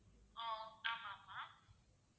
ஆஹ் ஆமா ஆமா